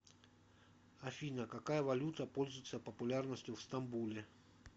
афина какая валюта пользуется популярностью в стамбуле